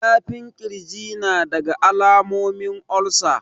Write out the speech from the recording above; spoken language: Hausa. Zafin kirji nadaga alamomin olsa